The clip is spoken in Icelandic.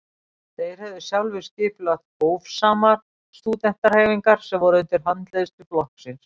þeir höfðu sjálfir skipulagt „hófsamar“ stúdentahreyfingar sem voru undir handleiðslu flokksins